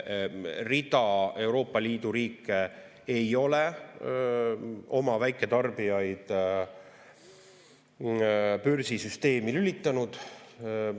Rida Euroopa Liidu riike ei ole oma väiketarbijaid börsisüsteemi lülitanud.